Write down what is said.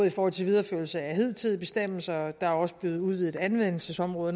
i forhold til videreførelse af hidtidige bestemmelser der er også blevet udvidet anvendelsesområder